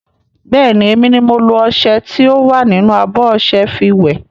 Bẹ́ẹ̀ni, emi ni mo lo ọṣẹ tí ó wà nínú abọ́ ọṣẹ fi wẹ̀.